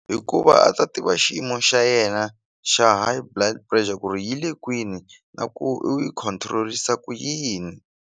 Hikuva a ta tiva xiyimo xa yena xa High Blood Bressure ku ri yi le kwini na ku u yi control-isa ku yini.